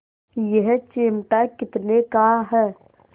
यह चिमटा कितने का है